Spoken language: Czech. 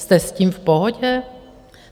Jste s tím v pohodě?